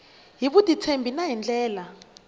hi vutitshembi na hi ndlela